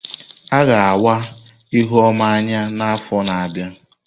A ga awa Ihuoma anya n'afọ na-abịa.